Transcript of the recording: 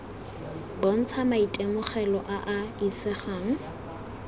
bontsha maitemogelo a a isegang